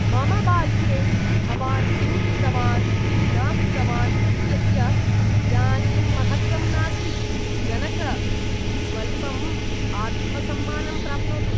मम बाल्ये भवान् किं कृतवान्, किं न कृतवान् इत्यस्य इदानीं महत्त्वं नास्ति, जनक। स्वल्पम् आत्मसम्मानं प्राप्नोतु!